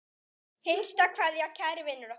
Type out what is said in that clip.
HINSTA KVEÐJA Kæri vinur okkar.